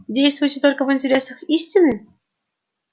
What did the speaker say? действуете только в интересах истины